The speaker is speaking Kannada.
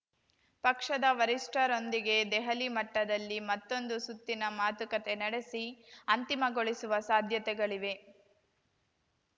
ಪಕ್ಷದ ವರಿಷ್ಠರೊಂದಿಗೆ ದೆಹಲಿ ಮಟ್ಟದಲ್ಲಿ ಮತ್ತೊಂದು ಸುತ್ತಿನ ಮಾತುಕತೆ ನಡೆಸಿ ಅಂತಿಮಗೊಳಿಸುವ ಸಾಧ್ಯತೆಗಳಿವೆ